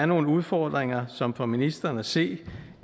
nogle udfordringer som for ministeren at se